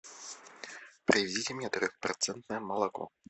привезите мне трехпроцентное молоко